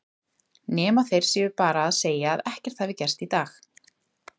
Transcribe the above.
Nema þeir séu bara að segja að ekkert hafi gerst í dag.